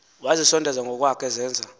wazisondeza ngokwakhe ezenza